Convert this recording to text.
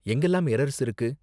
எங்கலாம் errors இருக்கு?